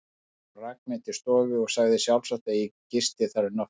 Hún rak mig til stofu og sagði sjálfsagt, að ég gisti þar um nóttina.